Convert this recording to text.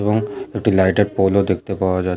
এবং একটি লাইট -এর পোল ও দেখতে পাওয়া যা--